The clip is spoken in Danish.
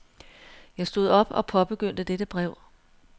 Jeg stod op og påbegyndte dette brev.